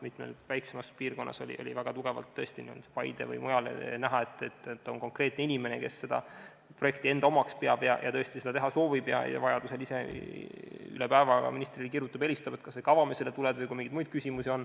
Mitmes väiksemas piirkonnas, näiteks Paides või mujal, oli tõesti näha, et on konkreetne inimene, kes peab projekti enda omaks ja tõesti seda teha soovib, vajaduse korral helistab ja kirjutab ise üle päeva ministrile ja küsib, kas see ikka avamisele tuleb ja muid küsimusi.